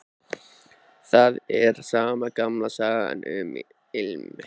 Það er sama gamla sagan, um ilm